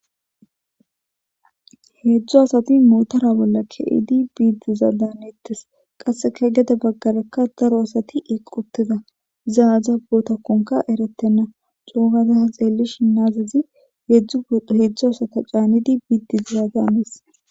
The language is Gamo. Hedzdzu asati motora bolla kezid bidi diza danetes, qaseka gede bagraka daro asati eqi utida , izi aza bootakonka eretena, co gada ta xelishn kaamezi hedzdzu asati caanid bid diza danes